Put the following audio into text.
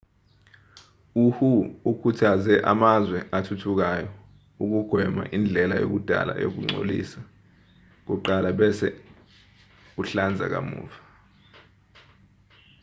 uhu ukhuthaze amazwe athuthukayo ukugwema indlela yakudala yokugcolisa kuqala bese uhlanza kamuva